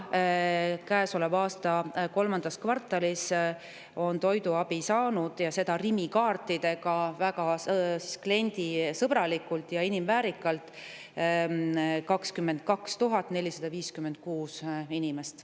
Käesoleva aasta kolmandas kvartalis on toiduabi saanud, seda Rimi kaartide abil, väga kliendisõbralikult ja inimväärikust arvestavalt, 22 456 inimest.